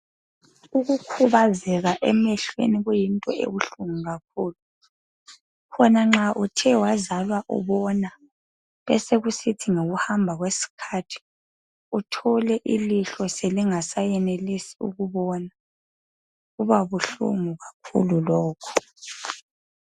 Ukukhubazeka emehlweni kuyinto ebuhlungu kakhulu. Khona nxa uthe wazalwa ubona besekusithi ngokuhamba kwesikhathi uthole ilihlo selingasayenelisi ukubona kubabuhlungu kakhulu lokhu.